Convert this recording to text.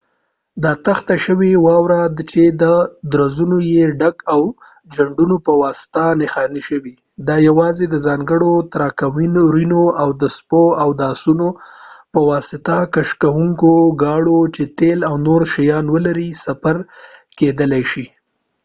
دا تخته شوې واوره ده چې درزونه یې ډک او د جنډو پواسطه نښاني شوي دا یواځې د ځانګړو تراکتورونو او د سپو او آسونو پواسطه کشکوونکو ګاړو چې تیل او نور شیان ولري سفر کیدلای شي